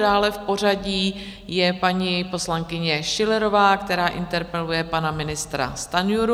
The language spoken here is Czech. Dále v pořadí je paní poslankyně Schillerová, která interpeluje pana ministra Stanjuru.